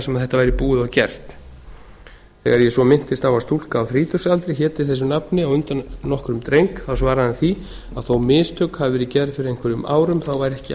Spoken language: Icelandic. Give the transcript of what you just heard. sem þetta væri búið og gert þegar ég svo minntist á að stúlka á þrítugsaldri héti þessu nafni á undan nokkrum dreng svaraði hann því að þó mistök hafi verið gerð fyrir einhverjum árum væri ekki